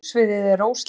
sjónsviðið er óslitið